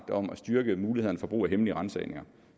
om at styrke mulighederne for brug af hemmelige ransagninger